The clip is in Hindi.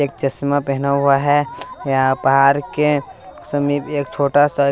एक चश्मा पेहना हुआ है यहां बाहर के समीप एक छोटा सा--